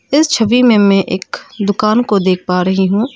इस छवि में मैं एक दुकान को देख पा रही हूं।